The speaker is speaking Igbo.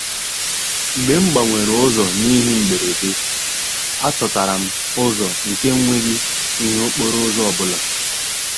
Mgbe m gbanwere ụzọ n’ihi mberede, achọtara m ụzọ nke nweghi ihe okporo ụzọ ọbụla.